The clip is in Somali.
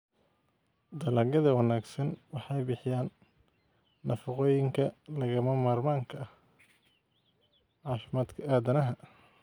Dalagyada wanaagsani waxay bixiyaan nafaqooyinka lagama maarmaanka u ah caafimaadka aadanaha.